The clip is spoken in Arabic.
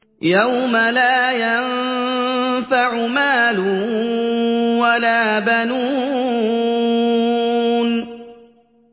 يَوْمَ لَا يَنفَعُ مَالٌ وَلَا بَنُونَ